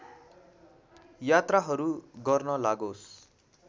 यात्राहरू गर्न लागोस्